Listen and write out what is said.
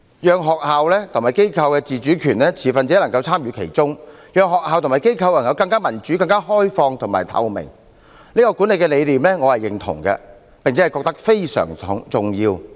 讓學校和機構有自主權、持份者能參與其中、讓學校和機構更民主、更開放透明，這種管治理念我是認同的，並認為非常重要。